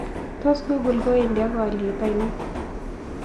Tos' google kowendi ak alyet ainon